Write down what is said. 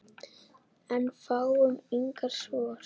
En fáum engin svör.